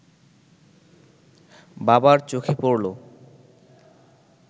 বাবার চোখে পড়ল